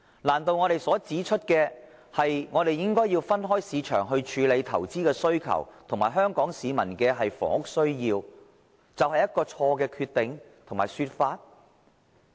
難道我們所指出，應該分開市場處理投資的需求及香港市民的房屋需要，就是錯誤決定和說法？